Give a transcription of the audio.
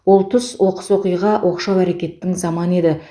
ол тұс оқыс оқиға оқшау әрекеттің заманы еді